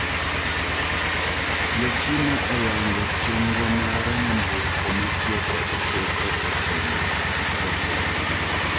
Jochina oyango chendro mar nyamburko matiyo kod teko stima mar Tesla.